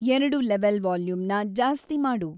ಎರಡು ಲೆವೆಲ್ ವಾಲ್ಯೂಂನ್ನ ಜಾಸ್ತಿಮಾಡು